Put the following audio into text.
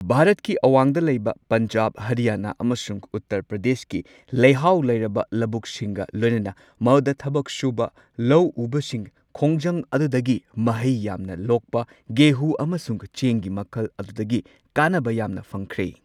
ꯚꯥꯔꯠꯀꯤ ꯑꯋꯥꯡꯗ ꯂꯩꯕ ꯄꯟꯖꯥꯕ, ꯍꯔꯤꯌꯥꯅ ꯑꯃꯁꯨꯡ ꯎꯠꯇꯔ ꯄ꯭ꯔꯥꯗꯦꯁꯀꯤ ꯂꯩꯍꯥꯎ ꯂꯩꯔꯕ ꯂꯧꯕꯨꯛꯁꯤꯡꯒ ꯂꯣꯏꯅꯅ ꯃꯗꯨꯗ ꯊꯕꯛ ꯁꯨꯕ ꯂꯧ ꯎꯕꯁꯤꯡ ꯈꯣꯡꯖꯪ ꯑꯗꯨꯗꯒꯤ ꯃꯍꯩ ꯌꯥꯝꯅ ꯂꯣꯛꯄ ꯒꯦꯍꯨ ꯑꯃꯁꯨꯡ ꯆꯦꯡꯒꯤ ꯃꯈꯜ ꯑꯗꯨꯗꯒꯤ ꯀꯥꯅꯕ ꯌꯥꯝꯅ ꯐꯪꯈꯔꯦ꯫